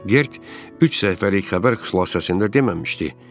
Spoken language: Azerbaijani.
Gert üç səhifəlik xəbər xülasəsində deməmişdi.